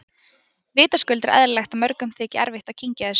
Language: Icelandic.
Vitaskuld er eðlilegt að mörgum þyki erfitt að kyngja þessu.